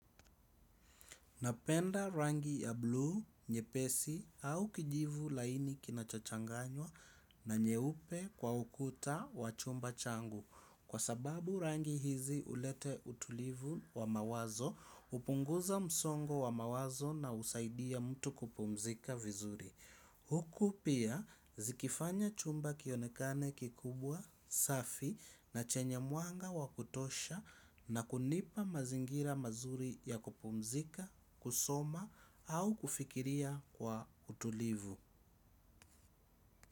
Napenda rangi ya blu, nyepesi au kijivu laini kinacho changanywa na nyeupe kwa ukuta wa chumba changu. Kwa sababu rangi hizi huleta utulivu wa mawazo, hupunguza msongo wa mawazo na husaidia mtu kupumzika vizuri. Huku pia zikifanya chumba kionekane kikubwa safi na chenye mwanga wakutosha na kunipa mazingira mazuri ya kupumzika, kusoma au kufikiria kwa utulivu.